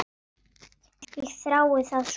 Ég þrái það svo heitt.